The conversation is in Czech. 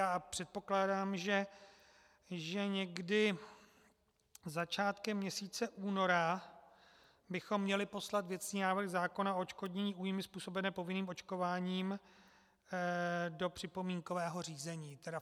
A předpokládám, že někdy začátkem měsíce února bychom měli poslat věcný návrh zákona o odškodnění újmy způsobené povinným očkováním do připomínkového řízení.